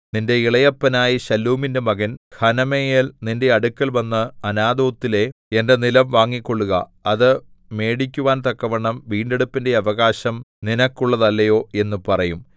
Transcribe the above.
നിന്റെ ഇളയപ്പനായ ശല്ലൂമിന്റെ മകൻ ഹനമെയേൽ നിന്റെ അടുക്കൽവന്ന് അനാഥോത്തിലെ എന്റെ നിലം വാങ്ങിക്കൊള്ളുക അത് മേടിക്കുവാൻ തക്കവണ്ണം വീണ്ടെടുപ്പിന്റെ അവകാശം നിനക്കുള്ളതല്ലയോ എന്ന് പറയും